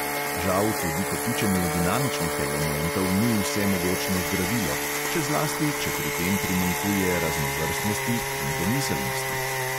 Žal tudi kopičenje dinamičnih elementov ni vsemogočno zdravilo, še zlasti, če pri tem primanjkuje raznovrstnosti in domiselnosti.